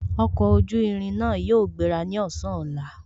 Ọkọ̀ ojú irin náà yóò gbéra ní ọ̀sán ọ̀la